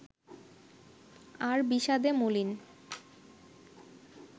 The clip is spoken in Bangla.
আর বিষাদে মলিন